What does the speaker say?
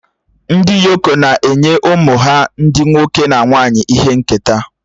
Ndị Yoko na-enye ụmụ ha ndị nwoke na nwanyị ihe nketa